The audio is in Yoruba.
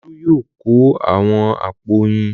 Olú yóò kó àwọn àpò oyin.